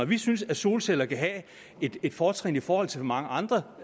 vi synes at solceller kan have et fortrin i forhold til mange andre